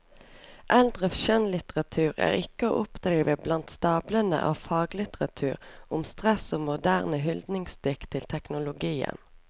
Eldre skjønnlitteratur er ikke å oppdrive blant stablene av faglitteratur om stress og moderne hyldningsdikt til teknologien.